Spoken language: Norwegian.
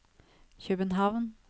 København